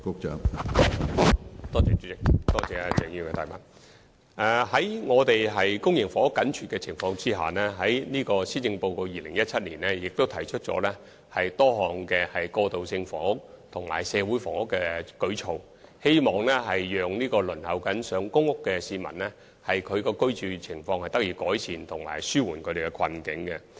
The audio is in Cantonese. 在公營房屋緊絀的情況下，當局在2017年的施政報告提出多項過渡性房屋和社會房屋舉措，希望正在輪候公屋的市民的居住情況能得到改善，並紓緩其困境。